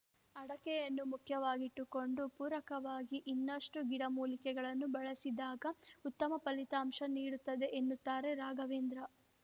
ಅಡಕೆಯನ್ನು ಮುಖ್ಯವಾಗಿಟ್ಟುಕೊಂಡು ಪೂರಕವಾಗಿ ಇನ್ನಷ್ಟುಗಿಡಮೂಲಿಕೆಗಳನ್ನು ಬಳಸಿದಾಗ ಉತ್ತಮ ಫಲಿತಾಂಶ ನೀಡುತ್ತದೆ ಎನ್ನುತ್ತಾರೆ ರಾಘವೇಂದ್ರ